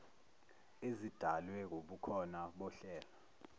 ezidalwe wubukhona bohlelo